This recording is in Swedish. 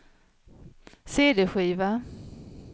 cd-skiva